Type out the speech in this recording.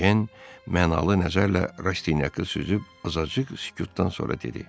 Ejen mənalı nəzərlə Rastinyakı süzüb azacıq sükutdan sonra dedi: